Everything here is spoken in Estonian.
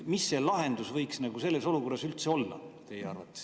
Mis see lahendus võiks teie arvates selles olukorras üldse olla?